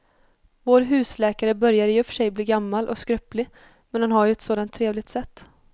Vår husläkare börjar i och för sig bli gammal och skröplig, men han har ju ett sådant trevligt sätt!